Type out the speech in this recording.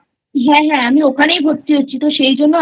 হ্যাঁ হ্যাঁ আমি ওখানেই ভর্তি হচ্ছি তো সেই জন্য